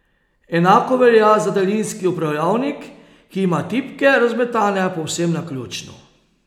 Enako velja za daljinski upravljalnik, ki ima tipke razmetane povsem naključno.